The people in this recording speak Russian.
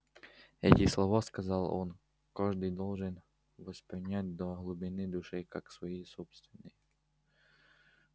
эти слова сказал он каждый должен воспринять до глубины души как свои собственные